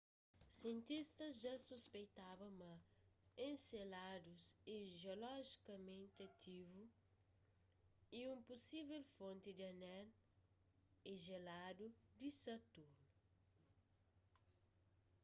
sientistas dja suspeitaba ma enceladus é jiolojikamenti ativu y un pusível fonti di anel e jeladu di saturnu